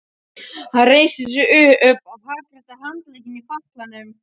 Hann reisti sig upp og hagræddi handleggnum í fatlanum.